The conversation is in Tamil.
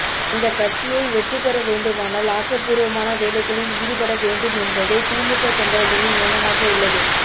அந்த கட்சியை வெற்றி பெற வேண்டுமானால் ஆக்கபூர்வமான வேலைகளில் ஈடுபட வேண்டும் என்பதே திமுக தொண்டர்களின் எண்ணமாக உள்ளது